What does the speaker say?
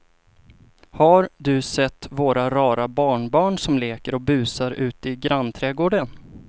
Har du sett våra rara barnbarn som leker och busar ute i grannträdgården!